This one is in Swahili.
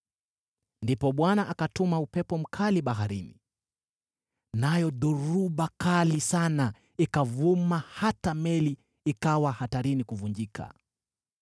Ndipo Bwana akatuma upepo mkali baharini, nayo dhoruba kali sana ikavuma hata meli ikawa hatarini kuvunjika.